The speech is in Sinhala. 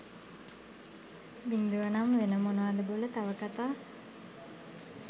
බින්දුවනම් වෙන මොනවද බොල තව කතා.